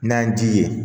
N'an ji ye